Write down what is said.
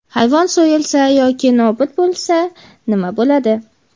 Hayvon so‘yilsa yoki nobud bo‘lsa nima bo‘ladi?.